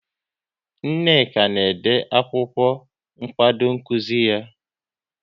Nneka na-ede akwụkwọ nkwado nkuzi ya